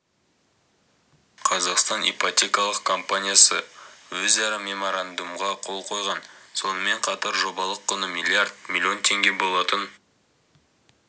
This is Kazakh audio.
қазақстан ипотекалық компаниясы өзара меморандумға қол қойған сонымен қатар жобалық құны миллиард миллион теңге болатын